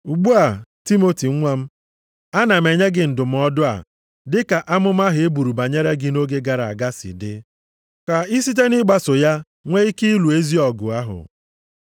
Ugbu a, Timoti nwa m, ana m enye gị ndụmọdụ a dị ka amụma ahụ e buru banyere gị nʼoge gara aga si dị. Ka ị site nʼịgbaso ya nwe ike ịlụ ezi ọgụ ahụ.